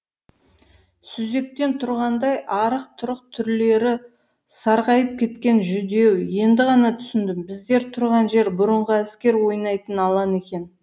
сүзектен тұрғандай арық тұрық түрлері сарғайып кеткен жүдеу енді ғана түсіндім біздер тұрған жер бұрынғы әскер ойнайтын алан екен